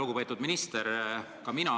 Lugupeetud minister!